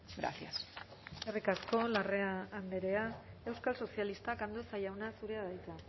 gracias eskerrik asko larrea andrea euskal sozialistak andueza jauna zurea da hitza